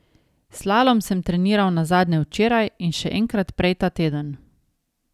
Slalom sem treniral nazadnje včeraj in še enkrat prej ta teden.